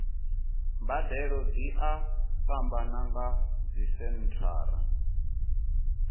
mbadelo dzi a fhambana nga dzisenthara